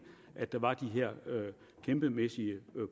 at der var de her kæmpemæssige